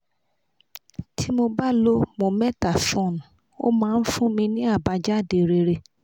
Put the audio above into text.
tí mo bá lo mometasone ó máa ń fún mi ní àbájáde rere